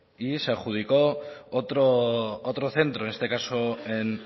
y se adjudicó otro centro en este caso en